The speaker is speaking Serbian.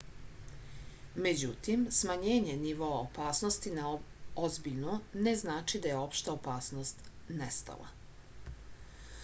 međutim smanjenje nivoa opasnosti na ozbiljnu ne znači da je opšta opasnost nestala